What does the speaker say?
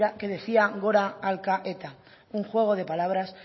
que decía gora alka eta un juego de palabras